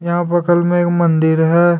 यहां बगल में एक मंदिर है।